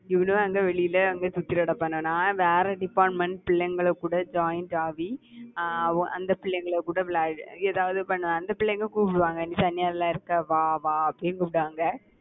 இவனுங்க அங்க வெளியில அங்க சுத்திட்டு கடப்பானுங்க? நான் வேற department பிள்ளைங்கள் கூட joint ஆகி அஹ் அவு~ அந்த பிள்ளைங்கள் கூட விளயாடி எதாவது பண்ணுவேன். அந்த பிள்ளைங்க கூப்பிடுவாங்க. நீ தனியால இருக்க வா வா அப்படின்னு கூப்பிடுவாங்க